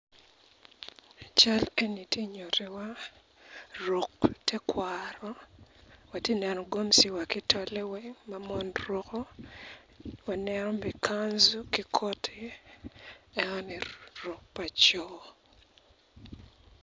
Cal eni tye nyuti wa ruk tekwaro atineno gomsi wa kitole weng ma mon ruko, waneno bene kanzu ki koti enoni ruk ma co.